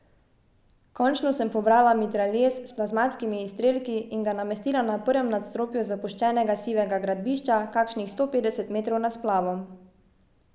Končno sem pobrala mitraljez s plazmatskimi izstrelki in ga namestila na prvem nadstropju zapuščenega sivega gradbišča kakšnih sto petdeset metrov nad splavom.